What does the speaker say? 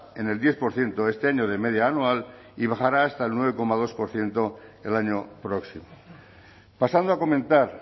en el diez por ciento este año de media anual y bajará hasta el nueve coma dos por ciento el año próximo pasando a comentar